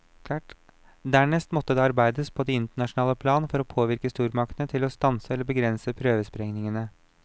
Dernest måtte det arbeides på det internasjonale plan for å påvirke stormaktene til å stanse eller begrense prøvesprengningene.